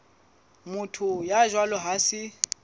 motho ya jwalo ha se